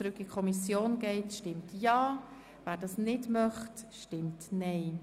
Wer diesen Antrag annimmt, stimmt Ja, wer ihn ablehnt, stimmt Nein.